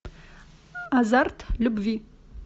азарт любви